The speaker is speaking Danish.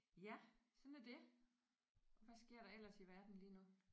Ja sådan er det. Og hvad sker der ellers i verden lige nu?